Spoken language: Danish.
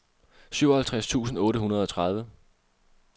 syvoghalvtreds tusind otte hundrede og tredive